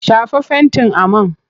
Shafa fentin a man!